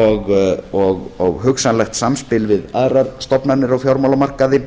og hugsanlegt samspil við aðrar stofnanir á fjármálamarkaði